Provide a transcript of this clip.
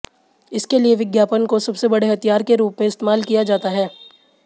इसके लिए विज्ञापन को सबसे बड़े हथियार के रूप में इस्तेमाल किया जाता है